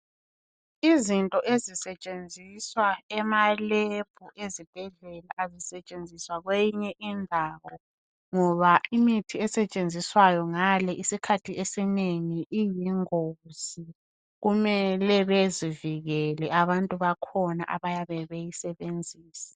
Izinto ezisetshenziswa emalebhu ezibhedlela azisetshenziswa kweyinye indawo ngoba imithi esetshenziswayo ngale isikhathi esinengi iyingozi, kumele bezivikele abantu bakhona abayabe beyisebenzisa.